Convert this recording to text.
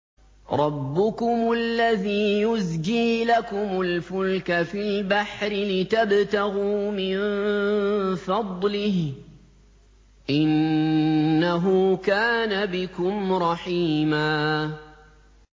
رَّبُّكُمُ الَّذِي يُزْجِي لَكُمُ الْفُلْكَ فِي الْبَحْرِ لِتَبْتَغُوا مِن فَضْلِهِ ۚ إِنَّهُ كَانَ بِكُمْ رَحِيمًا